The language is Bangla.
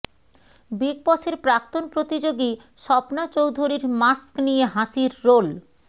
বিগ বসের প্রাক্তন প্রতিযোগী স্বপ্না চৌধুরীর মাস্ক নিয়ে হাসির রোল